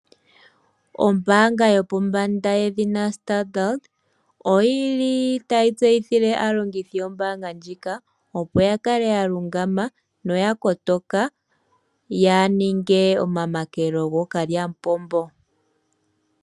Ombaanga yopombanda yedhina Standard oyi li tayi tseyithile aalongithi yombaanga ndjika, opo ya kale ya lungama noya kotoka yaa ninge omamakelo gokalyamupopombo.